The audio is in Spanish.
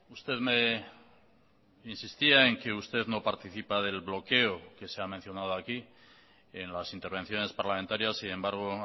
usted me insistía en que usted no participa del bloqueo que se ha mencionado aquí en las intervenciones parlamentarias sin embargo